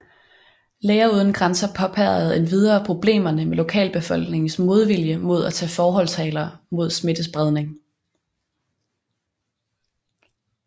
Læger uden grænser påpegede endvidere problemerne med lokalbefolkningens modvilje mod at tage forholdsregler mod smittespredning